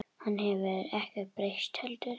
Hann hefur ekkert breyst heldur.